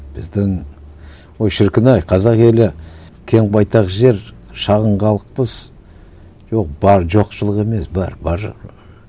біздің ой шіркін ай қазақ елі кең байтақ жер шағын халықпыз жоқ бар жоқшылық емес бар